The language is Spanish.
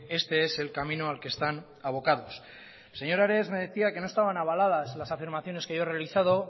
este es el camino al que están abocados señor ares me decía que no estaban avaladas las afirmaciones que yo he realizado